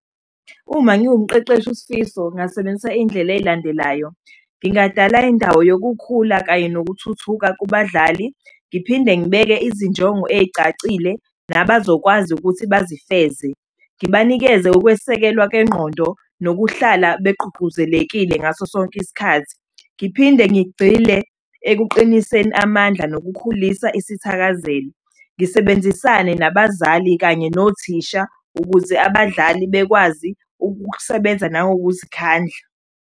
Uma ngiwumqeqeshi uSifiso ngingasebenzisa iy'ndlela ey'landelayo. Ngingadala indawo yokukhula kanye nokuthuthuka kubadlali, ngiphinde ngibeke izinjongo ey'cacile nabazokwazi ukuthi bazifeze. Ngibanikeze ukwesekelwa kwengqondo nokuhlala begqugquzelekile ngaso sonke isikhathi. Ngiphinde ngigxile ekuqiniseni amandla nokukhulisa isithakazelo, ngisebenzisane nabazali kanye nothisha ukuze abadlali bekwazi ukusebenza nangokuzikhandla.